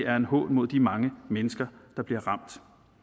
er en hån mod de mange mennesker der bliver ramt